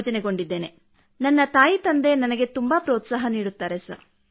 my first sister doing government job in bank and I am settled in railway